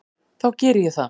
Þá geri ég það.